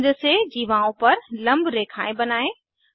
केंद्र से जीवाओं पर लम्ब रेखाएं बनायें